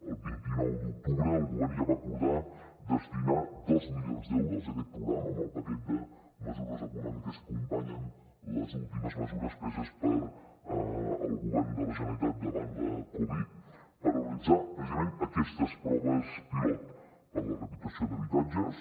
el vint nou d’octubre el govern ja va acordar destinar dos milions d’euros a aquest programa amb el paquet de mesures econòmiques que acompanyen les últimes mesures preses pel govern de la generalitat davant la covid per realitzar precisament aquestes proves pilot per a la rehabilitació d’habitatges